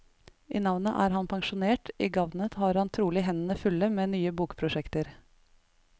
I navnet er han pensjonert, i gavnet har han trolig hendene fulle med nye bokprosjekter.